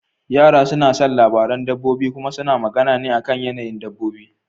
Yara suna son labaran dabbobi kuma suna magana ne akan yanayin dabbobi.